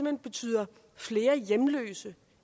hen betyder flere hjemløse